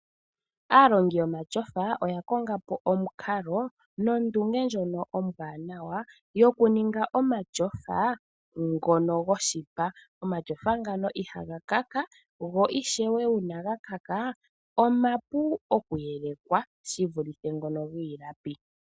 Aalongi yomatyofa oya kongapo omukalo nondunge ndjono ombwanawa yoku ninga omatyofa ngono goshipa, omatyofa ngano ihaga kaka go ishewe uuna ga kaka omapu okuyelekwa shivule ngono giilapi.